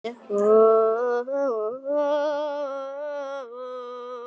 Hvað segið þið?